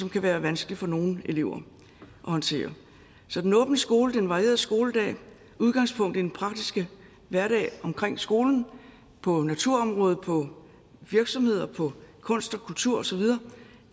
kan være vanskeligt for nogle elever at håndtere så den åbne skole den varierede skoledag udgangspunkt i den praktiske hverdag omkring skolen på naturområdet på virksomheder på kunst og kultur og så videre